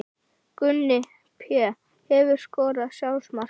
Gunni Pé Hefurðu skorað sjálfsmark?